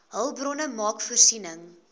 hulpbronne maak voorsiening